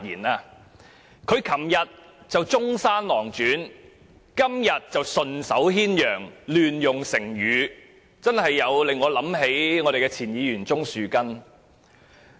他昨天說《中山狼傳》，今天則說順手牽羊，亂用成語，他不禁令我想起前議員鍾樹根。